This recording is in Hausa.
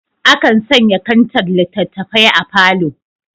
Akan sanya kantar littattafai a falo.